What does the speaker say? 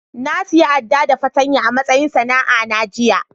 Na siya Adda da fatanya a'matsayin sana'a na jiya.